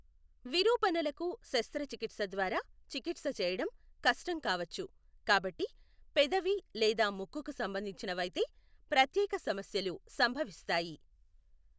విరూపణలకు శస్త్రచికిత్స ద్వారా చికిత్స చేయడం కష్టం కావచ్చు కాబట్టి పెదవి లేదా ముక్కుకు సంబంధించనవైతే ప్రత్యేక సమస్యలు సంభవిస్తాయి.